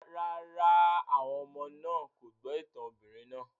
Rárá, àwọn ọmọ náà kò gbọ́ ìtàn obìnrin náà